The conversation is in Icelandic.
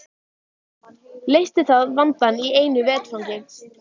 Leysti það vandann í einu vetfangi.